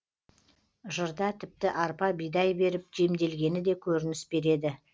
жырда тіпті арпа бидай беріп жемделгені де көрініс береді